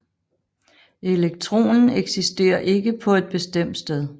Elektronen eksisterer ikke på et bestemt sted